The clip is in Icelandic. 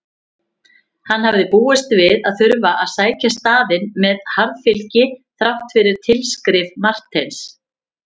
Hann hafði búist við að þurfa að sækja staðinn með harðfylgi þrátt fyrir tilskrif Marteins.